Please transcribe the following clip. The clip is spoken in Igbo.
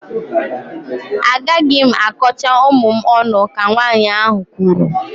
Agaghị m akọcha ụmụ m ọnụ, ka nwaanyị ahụ kwuru